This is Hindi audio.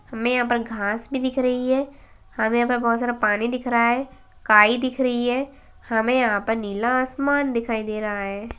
हमे यहाँ पर घास भी दिख रही है हमे यहाँ पर बोहोत सारा पानी दिख रहा है काइ दिख रही है हमे यहाँ पर नीला आसमान दिखाई दे रहा है।